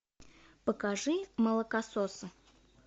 покажи молокососы